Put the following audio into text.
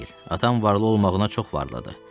Atam varlı olmağına çox varladı.